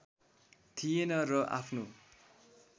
थिएन र आफ्नो